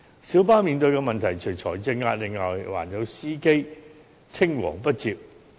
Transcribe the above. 小巴面對的問題，除財政壓力外，還有司機青黃不接。